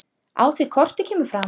Á því korti kemur fram